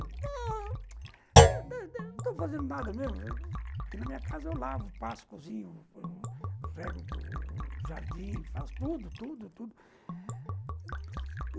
Não estou fazendo nada mesmo, porque na minha casa eu lavo, passo, cozinho, rego, jardim, faço tudo, tudo, tudo.